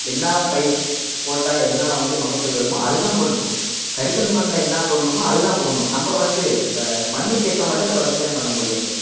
என்னா பயிர் போட்டா என்னா வந்து மகசூல் வருமோ அதுதான் போடணும் கரிசல் மண்ணுல என்ன போடணுமோ அதுதான் போடணும் நம்ம வந்து இப்ப மண்ணுக்கு ஏத்த மாதிரிதான் நம்ம விவசாயம் பண்ண முடியும்